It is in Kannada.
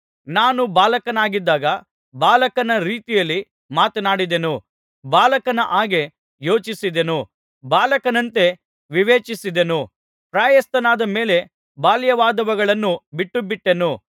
ನಾನು ಬಾಲಕನಾಗಿದ್ದಾಗ ಬಾಲಕನ ರೀತಿಯಲ್ಲಿ ಮಾತನಾಡಿದೆನು ಬಾಲಕನ ಹಾಗೆ ಯೋಚಿಸಿದೆನು ಬಾಲಕನಂತೆ ವಿವೇಚಿಸಿದೆನು ಪ್ರಾಯಸ್ಥನಾದ ಮೇಲೆ ಬಾಲ್ಯದವುಗಳನ್ನು ಬಿಟ್ಟುಬಿಟ್ಟೆನು